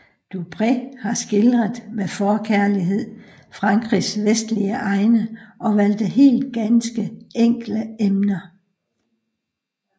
Dupré har skildret med forkærlighed Frankrigs vestlige egne og valgte helst ganske enkle emner